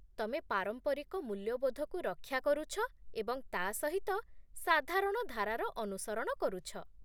ତମେ ପାରମ୍ପରିକ ମୂଲ୍ୟବୋଧକୁ ରକ୍ଷା କରୁଛ ଏବଂ ତା' ସହିତ ସାଧାରଣ ଧାରାର ଅନୁସରଣ କରୁଛ